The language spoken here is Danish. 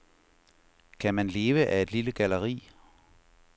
Kan man leve af et lille galleri?